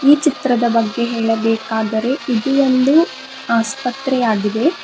ಈ ಚಿತ್ರದ ಬಗ್ಗೆ ಹೇಳಬೇಕಾದರೆ ಇದು ಒಂದು ಆಸ್ಪತ್ರೆಯಾಗಿದೆ.